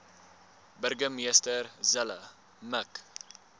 burgemeester zille mik